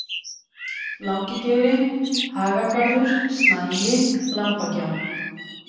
Langigeiri, Hagagarður, Snagi, Lambagjá